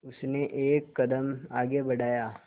उसने एक कदम आगे बढ़ाया